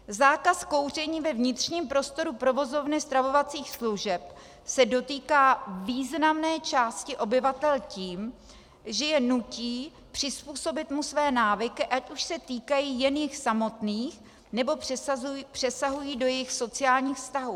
Zákaz kouření ve vnitřním prostoru provozovny stravovacích služeb se dotýká významné části obyvatel tím, že je nutí přizpůsobit mu své návyky, ať už se týkají jen jich samotných, nebo přesahují do jejich sociálních vztahů.